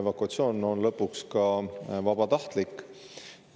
Evakuatsioon on lõpuks ka vabatahtlik.